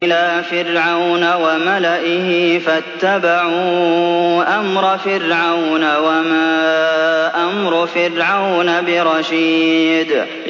إِلَىٰ فِرْعَوْنَ وَمَلَئِهِ فَاتَّبَعُوا أَمْرَ فِرْعَوْنَ ۖ وَمَا أَمْرُ فِرْعَوْنَ بِرَشِيدٍ